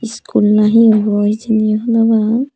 iskul nahi obo hejeni honopang.